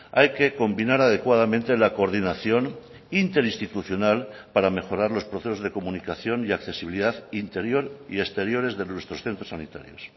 hay que combinar adecuadamente la coordinación interinstitucional para mejorar los procesos de comunicación y accesibilidad interior y exteriores de nuestros centros sanitarios